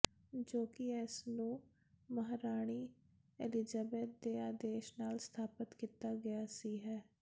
ਜੋ ਕਿ ਇਸ ਨੂੰ ਮਹਾਰਾਣੀ ਏਲਿਜ਼ਬੇਤ ਦੇ ਆਦੇਸ਼ ਨਾਲ ਸਥਾਪਤ ਕੀਤਾ ਗਿਆ ਸੀ ਹੈ